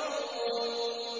وَهُمْ رَاكِعُونَ